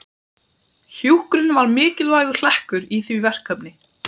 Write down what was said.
Hjúkrun var mikilvægur hlekkur í því verkefni.